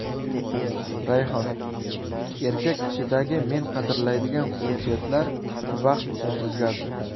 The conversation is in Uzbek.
Rayhon: Erkak kishidagi men qadrlaydigan xususiyatlar vaqt o‘tib o‘zgardi.